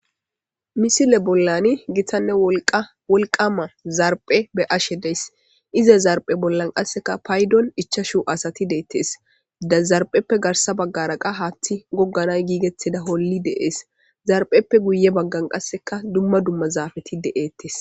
Misile bollani gitanne wolqa wolqama zarphe be ashe dees ize zarphe bollan qasseka paydon ichashu asati deettees dazarpheppe garsa baggaraqa haaththi gogganay giigeteda holli deees zarpheppe guye baggan qasseka dumma dumma zaafeti deettes.